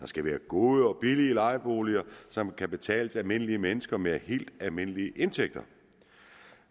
skal være gode og billige lejeboliger som kan betales af almindelige mennesker med helt almindelige indtægter